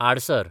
आडसार